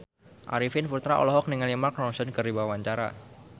Arifin Putra olohok ningali Mark Ronson keur diwawancara